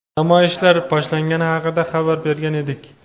namoyishlar boshlangani haqida xabar bergan edik.